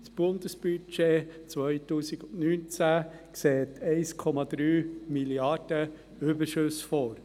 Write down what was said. Das Bundesbudget 2019 sieht 1,3 Mrd. Franken Überschüsse vor.